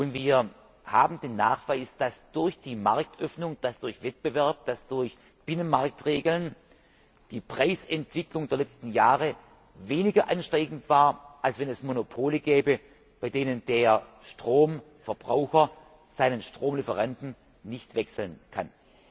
Wir haben den Nachweis, dass durch die Marktöffnung, durch Wettbewerb, durch Binnenmarktregeln die Preisentwicklung der letzten Jahre weniger ansteigend war, als wenn es Monopole gäbe, bei denen der Stromverbraucher seinen Stromlieferanten nicht wechseln kann.